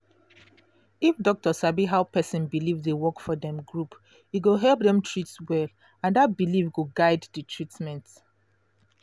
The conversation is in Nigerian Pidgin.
if doctor sabi how person belief dey work for dem group e go help dem treat well and that belief go guide the treatment